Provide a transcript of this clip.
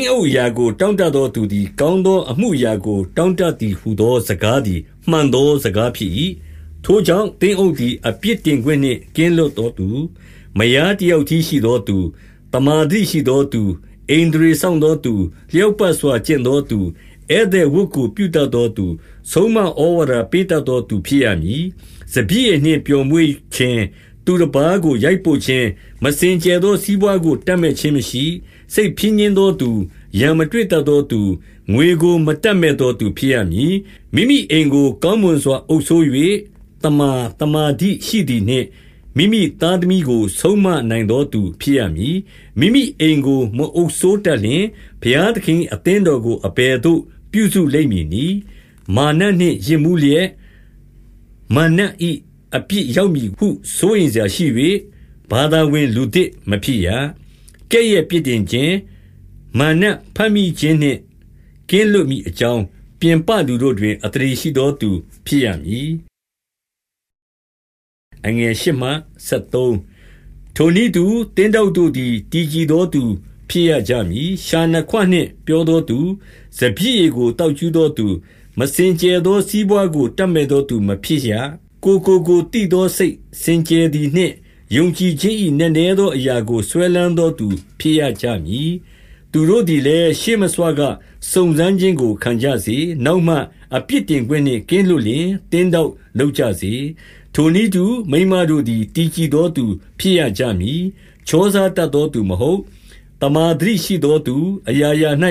င်းအုပ်အရာကို တောင့်တသောသူသည် ကောင်းသော အမှုအရာကို တောင့်တသည်ဟုသော စကားသည် မှန်သောစကားဖြစ်၏။ 2 ထိုကြောင့်၊ သင်းအုပ်သည် အပြစ်တင်ခွင့်နှင့် ကင်းလွတ်သောသူ၊ မယားတယောက်တည်းရှိသောသူ၊ သမ္မာသတိရှိသောသူ၊ ဣန္ဒြေစောင့်သောသူ၊ လျောက်ပတ်စွာ ကျင့်သောသူ၊ ဧည့်သည်ဝတ်ကို ပြုတတ်သောသူ၊ ဆုံးမဩဝါဒပေးတတ်သောသူ ဖြစ်ရမည်။ 3 စပျစ်ရည်နှင့်ပျော်မွေ့ခြင်း၊ သူတပါးကိုရိုက်ပုတ်ခြင်း၊ မစင်ကြယ်သော စီးပွါးကိုတပ်မက်ခြင်းမရှိ၊ စိတ် ဖြည်းညှင်းသောသူ၊ ရန်မတွေ့တတ်သောသူ၊ ငွေကို မတပ်မက်သောသူဖြစ်ရမည်။ 4 မိမိအိမ်ကိုကောင်းမွန်စွာ အုပ်စိုး၍ သမ္မာသမာဓိရှိသည်နှင့်၊ မိမိသားသမီးကို ဆုံးမနိုင်သောသူ ဖြစ်ရမည်။ 5 မိမိအိမ်ကိုမအုပ်စိုးတတ်လျှင်၊ ဘုရားသခင်၏ အသင်းတော်ကို အဘယ်သို့ပြုစုလိမ့်မည်နည်း။ 6 မာနနှင့်ယစ်မူးလျက်၊ မာရ်နတ်၏ အပြစ် ရောက်မည်ဟု စိုးရိမ်စရာရှိ၍၊ ဘာသာဝင်လူသစ် မဖြစ်ရ။ 7 ကဲ့ရဲ့ပြစ်တင်ခြင်း၊ မာရ်နတ်ဘမ်းမိခြင်းနှင့် ကင်းလွတ်မည်အကြောင်း၊ ပြင်ပလူဘို့တွင် အသရေရှိ သောသူ ဖြစ်ရမည်။ 8 ထိုနည်းတူ၊ သင်းထောက်တို့သည် တည်ကြည်သောသူ ဖြစ်ရကြမည်။ လျှာနှစ်ခွနှင့်ပြောသောသူ၊ စပျစ်ရည်ကို သောက်ကြူးသောသူ၊ မစင်ကြယ်သော စီးပွါးကို တပ်မက်သောသူ မဖြစ်ရကြ။ 9 ကိုယ်ကိုကိုယ်သိသောစိတ် စင်ကြယ်သည်နှင့်၊ ယုံကြည်ခြင်း၏ နက်နဲသောအရာကို စွဲလမ်းသောသူ ဖြစ်ရကြမည်။ 10 သူတို့သည်လည်း ရှေ့မဆွက စုံစမ်းခြင်းကို ခံကြစေ။ နောက်မှ အပြစ်တင်ခွင့်နှင့်ကင်းလွတ်လျှင်၊ သင်းထောက်လုပ်ကြစေ။ 11 ထိုနည်းတူ၊ မိန်းမတို့သည် တည်ကြည်သောသူဖြစ်ရမည်။ ချောစားတတ်သောသူမဟုတ်။ သမ္မာ သတိရှိသောသူ၊ အရာရာ၌